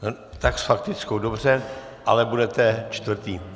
Tak s faktickou, dobře, ale budete čtvrtý.